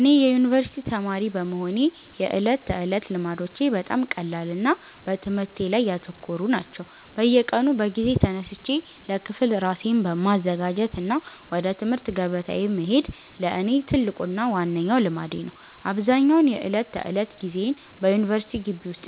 እኔ የዩኒቨርሲቲ ተማሪ በመሆኔ የዕለት ተዕለት ልማዶቼ በጣም ቀላልና በትምህርቴ ላይ ያተኮሩ ናቸው። በየቀኑ በጊዜ ተነስቼ ለክፍል ራሴን ማዘጋጀት እና ወደ ትምህርት ገበታዬ መሄድ ለእኔ ትልቁና ዋነኛው ልማዴ ነው። አብዛኛውን የዕለት ተዕለት ጊዜዬን በዩኒቨርሲቲ ግቢ ውስጥ